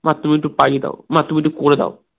মা তুমি একটু পাইয়ে দাও, মা তুমি একটু করে দাও